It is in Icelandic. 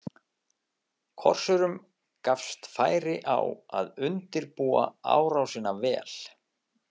Korsurum gafst færi á að undirbúa árásina vel.